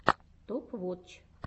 топ вотч